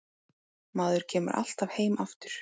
Maður kemur alltaf heim aftur